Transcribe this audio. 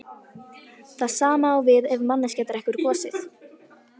Það sama á við ef manneskja drekkur gosið.